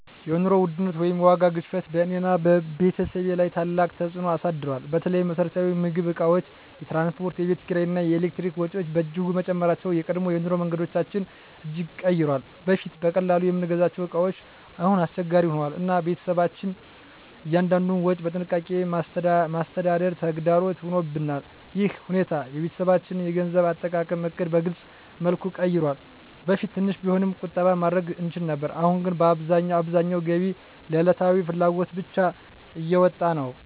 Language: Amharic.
የኑሮ ውድነት ወይም የዋጋ ግሽበት በእኔና በቤተሰቤ ላይ ታላቅ ተፅዕኖ አሳድሯል። በተለይ የመሰረታዊ ምግብ እቃዎች፣ የትራንስፖርት፣ የቤት ኪራይ እና የኤሌክትሪክ ወጪዎች በእጅጉ መጨመራቸው የቀድሞ የኑሮ መንገዳችንን እጅግ ቀይሯል። በፊት በቀላሉ የምንገዛቸው እቃዎች አሁን አስቸጋሪ ሆነዋል፣ እና ቤተሰባችን እያንዳንዱን ወጪ በጥንቃቄ ማስተዳደር ተግዳሮት ሆኖብናል። ይህ ሁኔታ የቤተሰባችንን የገንዘብ አጠቃቀም ዕቅድ በግልፅ መልኩ ቀይሯል። በፊት ትንሽ ቢሆንም ቁጠባ ማድረግ እንችል ነበር፣ አሁን ግን አብዛኛው ገቢ ለዕለታዊ ፍላጎት ብቻ እየወጣ ነው።